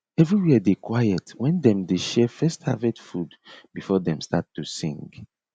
everywhere dey quiet when dem dey share first harvest food before dem start to sing